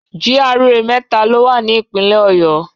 GRA mẹ́ta lo wà ní ìpínlẹ̀ Ọ̀yọ́.